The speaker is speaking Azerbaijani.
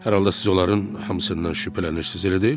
Hər halda siz onların hamısından şübhələnirsiniz, elə deyilmi?